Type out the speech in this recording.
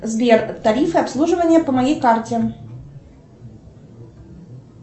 сбер тарифы обслуживания по моей карте